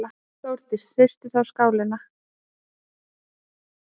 Þórdís: Hristist þá skálinn?